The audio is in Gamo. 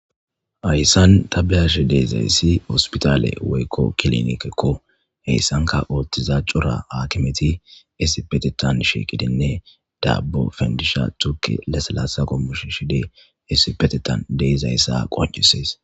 Haysan ta beyashe dizaysi hosputale woylo kilinikeko hesanka oothiza cora hakimeti issipetethan shiqidinne dabo pandisha tuke hesko shishidi issipetethan de'izaysa qoncises